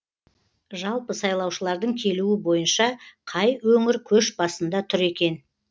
жалпы сайлаушылардың келуі бойынша қай өңір көш басында тұр екен